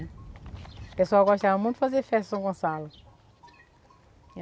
O pessoal gostava muito de fazer festa em São Gonçalo.